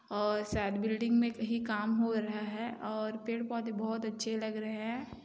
और शायद बिल्डिंग मे कही काम हो रहा है और पेड पौधे बहुत अच्छे लग रहे हैं।